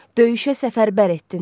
Döyüşə səfərbər etdin hamını.